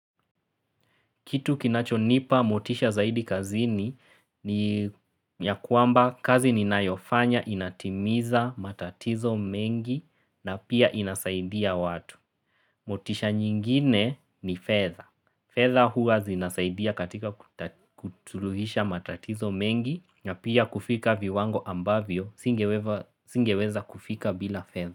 Kitu kinachonipa motisha zaidi kazini ni ya kwamba kazi ninayofanya inatimiza matatizo mengi na pia inasaidia watu. Motisha nyingine ni fedha. Fedha huwa zinasaidia katika kuzuluhisha matatizo mengi na pia kufika viwango ambavyo singeweza kufika bila fedha.